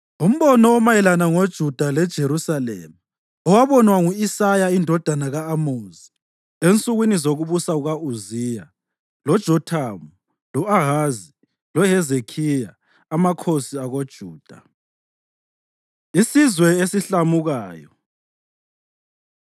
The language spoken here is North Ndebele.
Umbono omayelana ngoJuda leJerusalema owabonwa ngu-Isaya indodana ka-Amozi ensukwini zokubusa kuka-Uziya, loJothamu, lo-Ahazi loHezekhiya amakhosi akoJuda. Isizwe Esihlamukayo